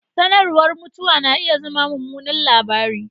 Sanarwar mutuwa na iya zama mummunan labari